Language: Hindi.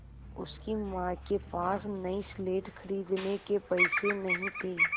उसकी माँ के पास नई स्लेट खरीदने के पैसे नहीं थे